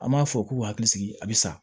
An b'a fɔ k'u hakili sigi a bɛ sa